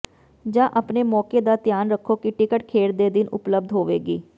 ਜਾਂ ਆਪਣੇ ਮੌਕੇ ਦਾ ਧਿਆਨ ਰੱਖੋ ਕਿ ਟਿਕਟ ਖੇਡ ਦੇ ਦਿਨ ਉਪਲਬਧ ਹੋਵੇਗੀ